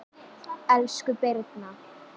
Elsku Birna